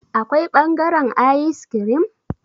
Akwai bangaren ayis kirim?